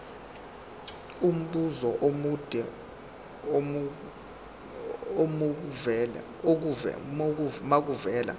umbuzo omude makuvele